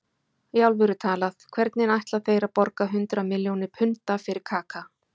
Í alvöru talað, hvernig ætla þeir að borga hundrað milljónir punda fyrir Kaka?